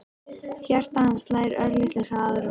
Hjarta hans slær örlitlu hraðar en venjulega.